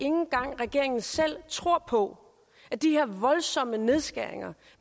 engang regeringen selv tror på at de her voldsomme nedskæringer